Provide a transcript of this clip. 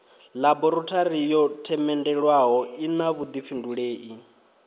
ḽaborathori yo themendelwaho ina vhuḓifhindulei